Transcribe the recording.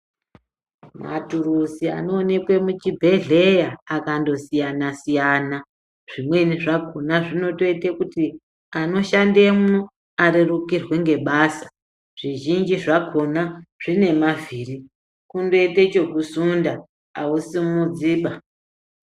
Matuluzi anoonekwe muchibhedhleya akandosiyana-siyana, zvimweni zvakona zvinoite kuti ana ashandemwo arerukirwe ngebasa. Zvizhinji zvakona zvine mavhiri kundoite chekusunda hausimudziba.